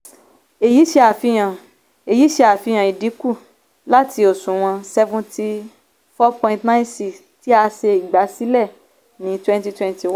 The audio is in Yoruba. èyí ṣe àfihàn èyí ṣe àfihàn ìdínkù láti òṣùwọ̀n seventy four point nine six percent tí a ṣe ìgbàsílẹ́ ní twenty twenty one.